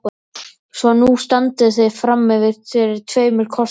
Svo nú standið þið frammi fyrir tveimur kostum.